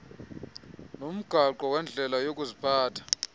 nomgaqo wendlela yokuziphatha